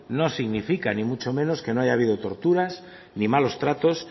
no significa ni muchos menos que no haya habido torturas ni malos tratos